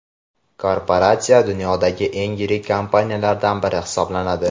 Korporatsiya dunyodagi eng yirik kompaniyalardan biri hisoblanadi.